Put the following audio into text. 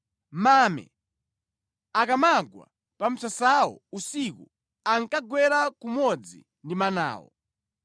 Mame akamagwa pa msasawo usiku ankagwera kumodzi ndi manawo.